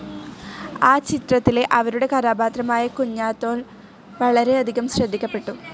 ആ ചിത്രത്തിലെ അവരുടെ കഥാപാത്രമായ കുഞ്ഞാത്തോൽ വളരെ അധികം ശ്രദ്ധിക്കപ്പെട്ടു.